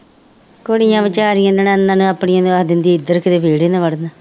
ਕੁੜੀਆਂ ਬੇਚਾਰੀਆਂ ਨੂੰ ਨਨਾਣਾਂ ਨੂੰ ਆਪਣੀਆਂ ਨੂੰ ਆਖ ਦਿੰਦੀ ਸੀ ਇੱਧਰ ਕਿਤੇ ਵਿਹੜੇ ਨਾ ਵੜਨ